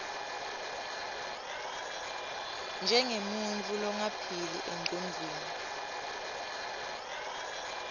njengemuntfu longaphili engcondvweni